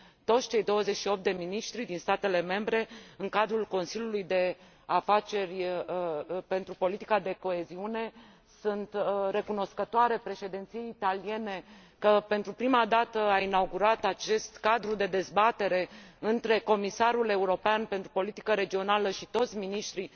toți cei 28 de miniștri din statele membre în cadrul Consiliului de Afaceri pentru politica de coeziune. Sunt recunoscătoare Președinției italiene că, pentru prima dată, a inaugurat acest cadru de dezbatere între comisarul european pentru politica regională și toți miniștrii